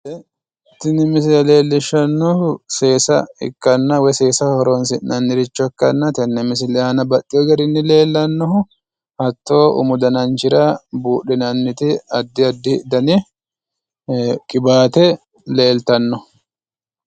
Tini misile leellishshannohu seesa ikkanna woyi seesaho horonsinanniricho ikkana tenne misile aana baxxeewo garinni leellannohu hatto umu dananchira buudhinanniti adda addi dani qiwaate leeltanno.